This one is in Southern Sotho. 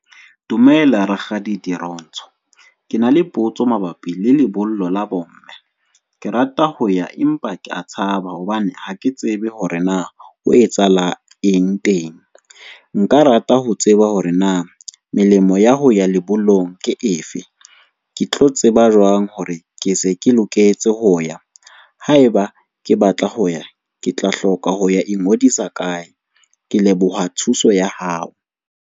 Dumela Rakgadi Dirontsho. Ke na le potso mabapi le lebollo la bomme, ke rata ho ya empa ke a tshaba hobane, ha ke tsebe hore na ho etsahala eng teng. Nka rata ho tseba hore na melemo ya ho ya lebollong ke efe? Ke tlo tseba jwang hore ke se ke loketse ho ya haeba ke batla ho ya ke tla hloka ho ya ingodisa kae? Ke leboha thuso ya hao.